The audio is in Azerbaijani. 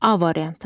A variantı.